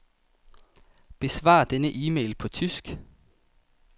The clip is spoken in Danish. Besvar denne e-mail på tysk.